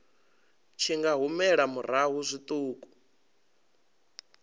tshi nga humela murahu zwiṱuku